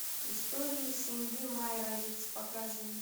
истории семьи майровиц покажи